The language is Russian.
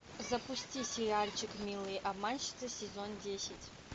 запусти сериальчик милые обманщицы сезон десять